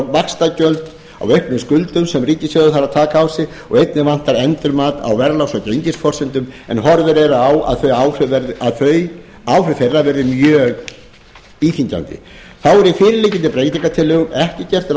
á auknum skuldum sem ríkissjóður þarf að taka á sig og einnig vantar endurmat á verðlags og gengisforsendum en horfur eru á að áhrif þeirra verði mjög íþyngjandi þá er í fyrir liggjandi breytingartillögum ekki gert